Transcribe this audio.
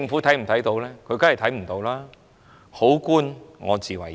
當然不，還要好官我自為之。